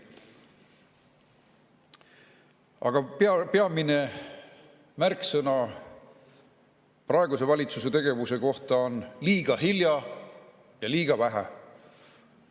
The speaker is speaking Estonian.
Aga peamised märksõnad praeguse valitsuse tegevuse kohta on: liiga hilja ja liiga vähe.